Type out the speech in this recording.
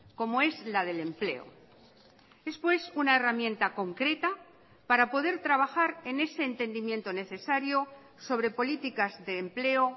como es la del empleo es pues una herramienta concreta para poder trabajar en ese entendimiento necesario sobre políticas de empleo